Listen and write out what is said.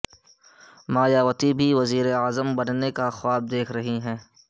مایا وتی بھی وزیراعظم بننے کے خواب دیکھ رہی ہیں